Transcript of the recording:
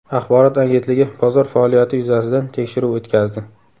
Axborot agentligi bozor faoliyati yuzasidan tekshiruv o‘tkazdi.